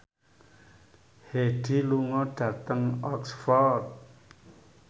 Hyde lunga dhateng Oxford